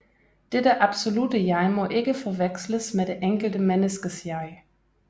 Dette absolutte jeg må ikke forveksles med det enkelte menneskes jeg